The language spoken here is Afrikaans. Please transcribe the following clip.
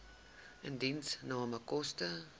indiensname koste